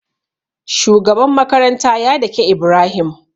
Shugaban makaranta ya dake ibrahim